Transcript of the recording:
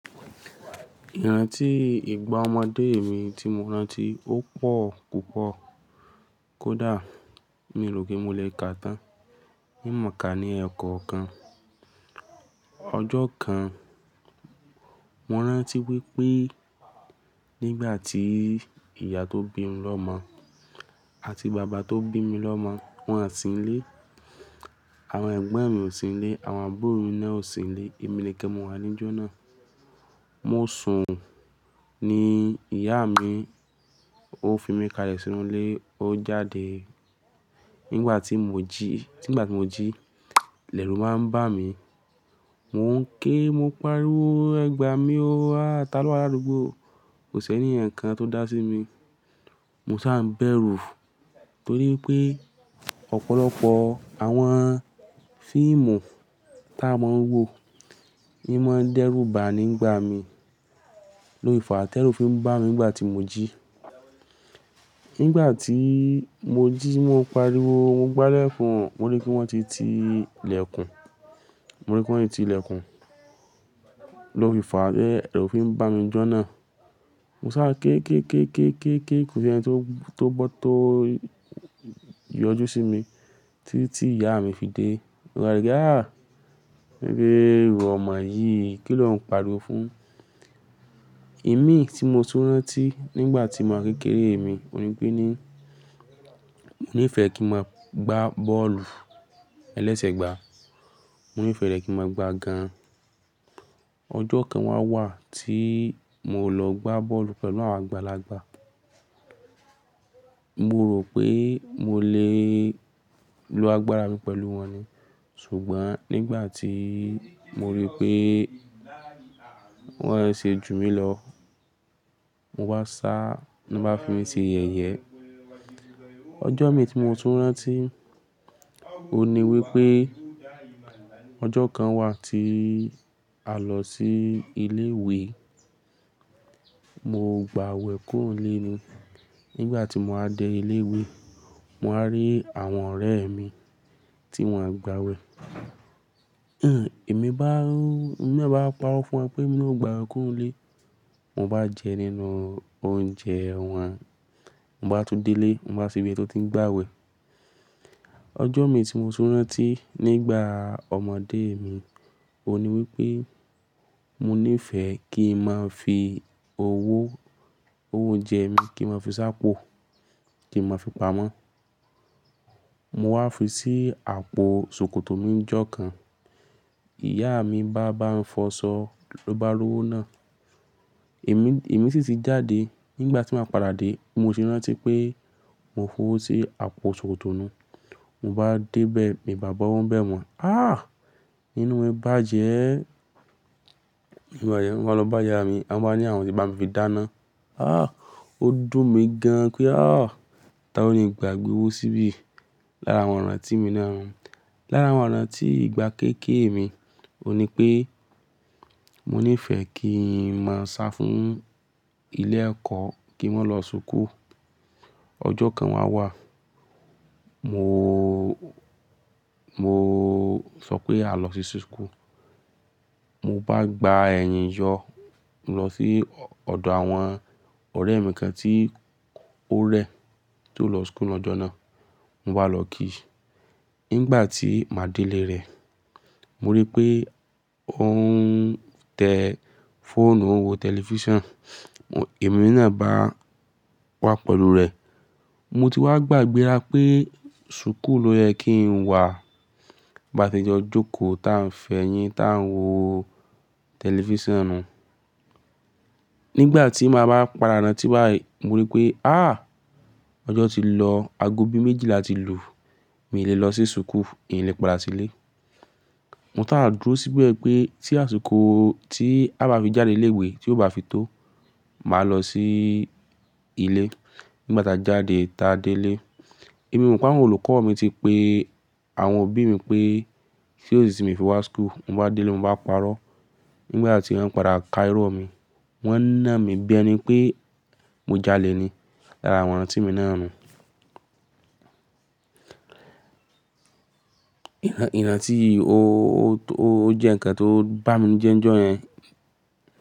Ìrántí ìgbà ọmọdé mi tí mo rántí ó pọ̀ púpọ̀ kódà mii rò pé mo lè kaà tán. In mọ̀ọ́ ká ní ẹ̀kọ́ kan, ọjọ́ kan mo rántí wípé nígbà tí ìyá tó bí mi lọ́mọ àti bàbá tó bí mi lọ́mọ, wón à sí nílé, àwọn ẹ̀gbọ́n mi ò sí nílé, àwọn àbúrò mi náà ò sí nílé, èmi nìkan mo wà níjọ́ náà. Mo sùn ní ìyá mi ó fi mí kalẹ̀ sínú ilé, ó jáde. Nígbà tí mo jí, nígbà tí mo jí, l'ẹ̀rù wa ń bà mí, mo ké, mo pariwo, ẹ̀gbà mí ó áh, tá lọ́ wá ladugbo, kò s'ẹ́niyan kan tó dá sí mi. Mo sá ń bẹ́rù nítorí pé ọ̀pọ̀lọpọ̀ àwọn fíìmù tí a máa ń wò, o ma n dẹ́rù bá ni ngbà mí, lófi ìfàá tẹ́rù fi ń bà mí nígbà tí mo jí. Nígbà tí mo jí, mo ń pariwo, mo gbá ilẹ̀kún, mo rí pé wón ti ti ilẹ̀kùn, mo rí pé wón ti ti ilẹ̀kùn, ló fi ìfàá ti ẹ́rù fi ń bà mí níjọ́ náà. Mo sá ké, ké, ké, ké, ké, ké, kò sí ẹni tó, tó gbọ́ tó yọjú sí mi títí tí ìyá mi fi dé. Ó wí pé, "ha á, wipe iwọ́ ọmọ yìí, kí ló ń pariwo fún?" Ìmí tí mo tún rántí nígbà tí mo kékeré mi, òní pẹ́ ní, mo ní fẹ́ kí n máa gba bọ́ọ̀lù ẹlẹ́sẹ̀gbà. Mo nífẹ́ rẹ kí n máa gba gan. Ọjọ́ kan wá wà tí mo lọ gba bọ́ọ̀lù pẹ̀lú àwọn àgbàlagbà. Mo rò pé mo lè lo agbára mi pẹ̀lú wọn ni. Ṣùgbọ́n nígbà tí mo rí pé wọ́n ń ṣe jù mí lọ, mo wá sá, wọ́n bá fi mí se yẹ̀yẹ. Ọjọ́ mi tí mo tún rántí, òní wípé ọjọ́ kan wà tí a lọ sí ilé ìwé, mo gba aawẹ̀ kúro nlé ni. Nígbà tí mo wá dé ilé ìwé, mo wá rí àwọn ọ̀rẹ́ mi tí wón o gba awẹ̀. Ẹ̀mi bá, ẹ̀mi na bá paró fún wọn pé emi na ò gba awẹ̀ kúrò n lé, mo bá jẹ nínú oúnjẹ wọn, mo bá tún délé, mo bá sebi eyi ti ń gba wẹ̀. Ọjọ́ mi tí mo tún rántí nígbà ọmọdé mi, òní wípé mo ní ìfẹ́ kí n máa fi owó, owó oúnjẹ mi kí n máa fi sá pọ̀, kí n máa fi pamọ́. Mo wá fi sí àpò ṣòkòtò mi ní ọjọ́ kan, ìyá mi bá bá mi fọsọ, ló bá ri owó náà. Ẹ̀mí, ẹ̀mí sì ti jáde. Nígbà tí maa padà dé, bí mo se rántí pé mo f'owó sí àpò ṣòkòtò nuu. Mo bá dé bẹ́ẹ̀, mi bà bá owo n bẹ̀ mọ́. "Ah! Inú mi ń bàjẹ́." Mo wá lọ bá ìyá mi, wọ́n bá ní àwọn ò ti bá mi fi dáná. "Ah! Ó dùn mí gan." pé, "Ah! Tall ni n gbagbé owó síbí?" Lára àwọn ìrántí mi náà nu. Lára àwọn ìrántí ìgbà kékeré mi, òní pé mo ní ìfẹ́ kí n máa sá fún ilé ẹ̀kọ́ kí wón lọ súkù. Ọjọ́ kan wá wà, mo, mo sọ pé a lọ sí súkù. Mo bá gba ẹ̀yìn yọ, mo lọ sí ọ̀dọ̀ àwọn ọ̀rẹ́ mi kan tí ó rẹ tí ó lọ súkù ní ọjọ́ náà, mo wá lọ kí i. Nígbà tí màá délé rẹ̀, mo rí pé ó ń tẹ fóònù o nwo tẹlifíṣàn, ẹ̀mí náà bá wá pẹ̀lú rẹ̀. Mo ti wá gbàgbé'rá pé súkùu ló yẹ kí n wá. Bá ti jọ jókòó táa ń fẹ́yín táa ń wo tẹlifíṣàn náà. Nígbà tí màá bá padà rántí wá yìí, mo rí pé ah! Ọjọ́ ti lọ, aago bí méjìlá ti lù, mi ò lè lọ sí súkù, mi lè padà sílé. Mo sá dúró síbẹ̀ pé tí àsìkò tí a bá fi jáde ilé ìwé tí ó bá fi tó, màá lọ sí ilé. Nígbà tí a jáde táa délé, èmi mò ń pàn án olùkọ́ mi ti pe àwọn òbí mi pé ṣé ó sì tì mi o fi wá súkù. Mo bá délé, mo bá parọ́. Nígbà tí wọ́n padà ka irọ́ mi, wọ́n náà mi bi ẹni pé mo jalè ni lára àwọn ìrántí mi náà nu. Ìrántí, ó, ó, ó jẹ́ ǹkan tó bá mi ninu jẹ́ ń jọ yẹn.